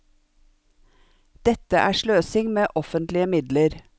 Dette er sløsing med offentlige midler.